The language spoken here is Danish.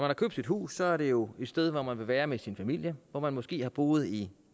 har købt sit hus er det jo et sted hvor man vil være med sin familie hvor man måske har boet i